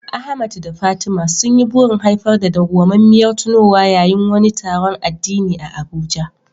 Ahmad da Fatima sun yi burin haifar da dawwamammiyar tunowa yayin wani taron addini a Abuja.